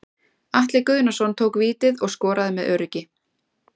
Atli Guðnason tók vítið og skoraði með öruggi.